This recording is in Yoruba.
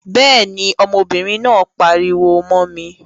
Béèni, ọmọbìnrin náà pariwo mó mi